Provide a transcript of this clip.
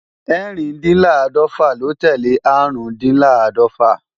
Ẹ́rìndínláàdọ́fà ló tẹ́lẹ̀ Árùndinláàdọ́fà